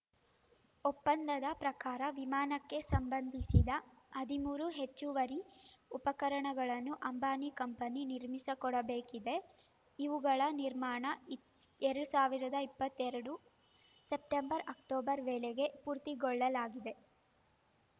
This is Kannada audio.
ಒಪ್ಪಂದದ ಪ್ರಕಾರ ವಿಮಾನಕ್ಕೆ ಸಂಬಂಧಿಸಿದ ಹದಿಮೂರು ಹೆಚ್ಚುವರಿ ಉಪಕರಣಗಳನ್ನು ಅಂಬಾನಿ ಕಂಪನಿ ನಿರ್ಮಿಸ ಕೊಡಬೇಕಿದೆ ಇವುಗಳ ನಿರ್ಮಾಣ ಇ ಎರಡ್ ಸಾವಿರದ ಇಪ್ಪತ್ತೆರಡು ಸೆಪ್ಟೆಂಬರ್‌ಅಕ್ಟೋಬರ್‌ ವೇಳೆಗೆ ಪೂರ್ತಿಗೊಳ್ಳಲಿದೆ